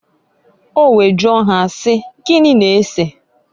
O wee jụọ ha si, "Gini na-eseǃ"